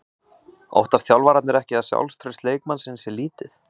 Óttast þjálfararnir ekki að sjálfstraust leikmannsins sé lítið?